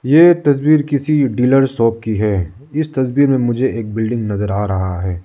ये तस्वीर किसी डीलर शॉप की है इस तस्वीर में मुझे एक बिल्डिंग नजर आ रहा है।